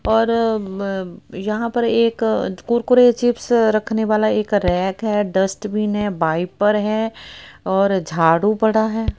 और ब अ यहां पर एक कुरकुरे चिप्स रखने वाला एक रैक है डस्टबिन है बाइपर है और झाड़ू पड़ा है।